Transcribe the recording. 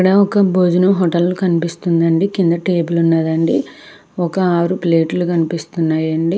ఇక్కడ ఒక భోజనం హోటల్ కనిపిస్తుంది అండి కింద టేబుల్ ఉన్నదండి ఒక ఆరు ప్లేట్లు కనిపిస్తున్నాయి అండి.